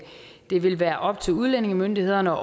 det vil være op til udlændingemyndighederne